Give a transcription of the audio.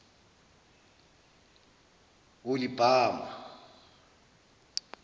holibama